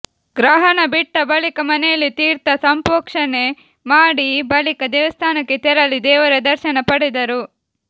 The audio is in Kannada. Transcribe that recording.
ಗ್ರಹಣ ಬಿಟ್ಟ ಬಳಿಕ ಮನೆಯಲ್ಲಿ ತೀರ್ಥ ಸಂಪೋಕ್ಷಣೆ ಮಾಡಿ ಬಳಿಕ ದೇವಸ್ಥಾನಕ್ಕೆ ತೆರಳಿ ದೇವರ ದರ್ಶನ ಪಡೆದರು